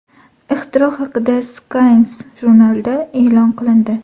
Ixtiro haqida Science jurnalida e’lon qilindi .